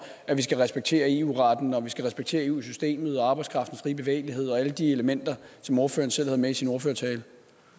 at vi skal respektere eu retten og at vi skal respektere eu systemet arbejdskraftens frie bevægelighed og alle de elementer som ordføreren selv havde med i sin ordførertale det